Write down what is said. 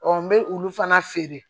n bɛ olu fana feere